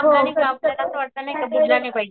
हो